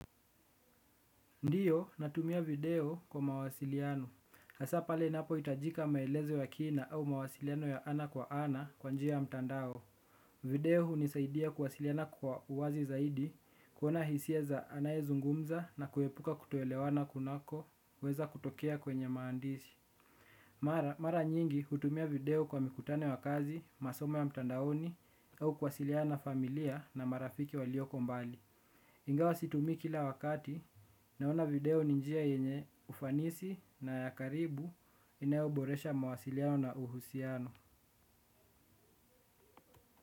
Ndiyo natumia video kwa mawasiliano. Hasa pale inapoitajika maelezo ya kina au mawasiliano ya ana kwa ana kwa njia ya mtandao. Video hunisaidia kuwasiliana kwa uwazi zaidi kuona hisia za anayezungumza na kuepuka kutoelewana kunakoweza kutokea kwenye maandishi. Mara nyingi hutumia video kwa mikutano ya kazi, masomo ya mtandaoni au kuwasiliana na familia na marafiki walioko mbali. Ingawa situmi kila wakati naona video ni njia yenye ufanisi na ya karibu inayoboresha mawasiliano na uhusiano.